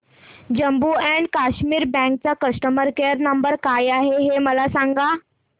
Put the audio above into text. Jammu and Kashmir bank चा customer care number काय आहे हे मला सांगा